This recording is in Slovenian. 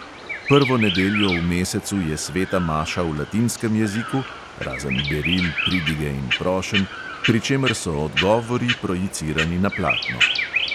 Prvo nedeljo v mesecu je sveta maša v latinskem jeziku (razen beril, pridige in prošenj), pri čemer so odgovori projicirani na platno.